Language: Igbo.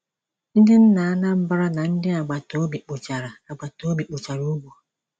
Ndị nna Anambra na ndị agbata obi kpochara agbata obi kpochara ugbo.